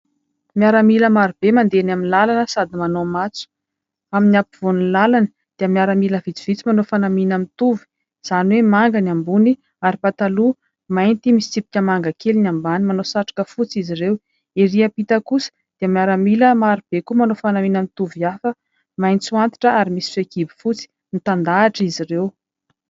Miaramila marobe mandeha eny amin'ny lalana sady manao matso. Amin'ny ampovoan'ny lalana dia miaramila vitsivitsy manao fanamiana mitovy izany hoe manga ny ambony ary pataloha mainty misy tsipika manga kely ny ambany, manao satroka fotsy izy ireo. Erỳ am-pita kosa dia miaramila marobe koa manao fanamiana mitovy hafa maitso antitra ary misy fehikibo fotsy, mitandahatra izy ireo.